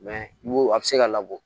a bɛ se ka labɔ